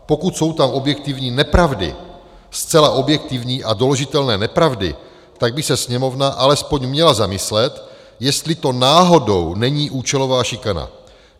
Pokud jsou tam objektivní nepravdy, zcela objektivní a doložitelné nepravdy, tak by se Sněmovna alespoň měla zamyslet, jestli to náhodou není účelová šikana.